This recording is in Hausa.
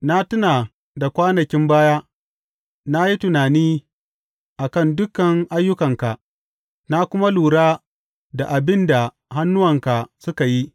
Na tuna da kwanakin baya na yi tunani a kan dukan ayyukanka na kuma lura da abin da hannuwanka suka yi.